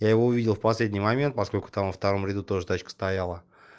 я его увидел в последний момент поскольку там во втором ряду тоже тачка стояла